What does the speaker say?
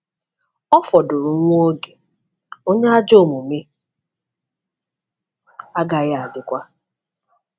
Ọ fọdụrụ nwa oge, onye ajọ omume agaghị adịkwa...